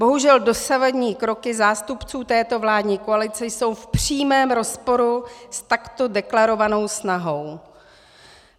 Bohužel dosavadní kroky zástupců této vládní koalice jsou v přímém rozporu s takto deklarovanou snahou.